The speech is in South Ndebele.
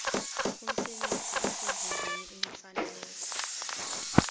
umsebenzi osezingeni elifaneleko